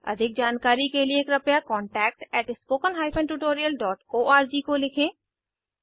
अधिक जानकारी का लिए कृपया contactspoken tutorialorg को लिखें